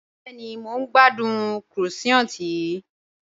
Bẹẹni, mọ̀ n gbàdùn croissant yìí